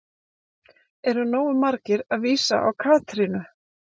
Eru nógu margir að vísa á Katrínu?